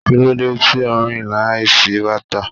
Kí ló dé tí ò ń rìn láìsí bàtà?